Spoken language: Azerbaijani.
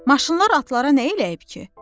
Maşınlar atlara nə eləyib ki?